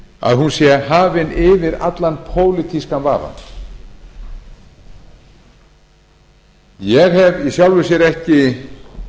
að hún sé hafin yfir allan pólitískan vafa ég hef í sjálfu sér ekki